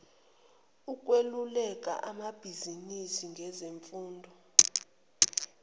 ukweluleka amabizinisi ngezimfuno